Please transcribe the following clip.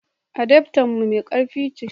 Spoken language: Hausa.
adaftan mu mai karfi ce